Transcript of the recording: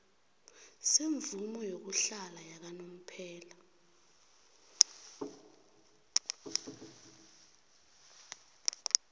semvumo yokuhlala yakanomphela